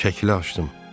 Şəkli açdım.